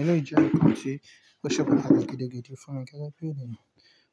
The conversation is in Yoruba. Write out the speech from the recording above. Ẹ le jẹ́ nkàn tí ó ṣe pàtàkì gidigidi fún mi gẹ́gẹ́ bí ènìyàn,